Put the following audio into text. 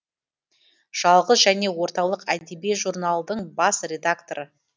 жалғыз және орталық әдеби журналдың бас редакторы